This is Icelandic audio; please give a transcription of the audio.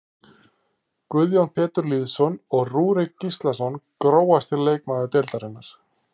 Guðjón Pétur Lýðsson og Rúrik Gíslason Grófasti leikmaður deildarinnar?